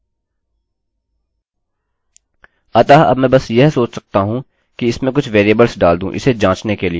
अतः अब मैं बस यह सोच सकता हूँ कि इसमें कुछ वेरिएबल्स डाल दूँ इसे जाँचने के लिए